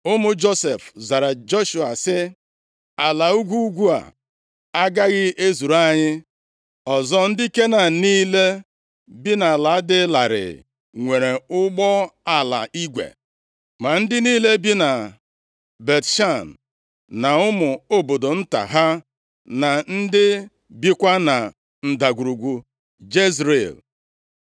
Ụmụ Josef zara Joshua sị, “Ala ugwu ugwu a agaghị ezuru anyị. Ọzọ, ndị Kenan niile bi nʼala dị larịị nwere ụgbọala igwe, ma ndị niile bi na Bet-Shan, na ụmụ obodo nta ha na ndị bikwa na Ndagwurugwu Jezril.”